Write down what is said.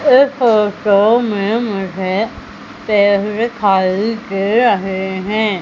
इस फोटो में मुझे पेड़ दिखाई दे रहे हैं।